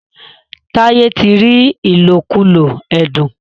Taiye tí rí ilokulo ẹdun.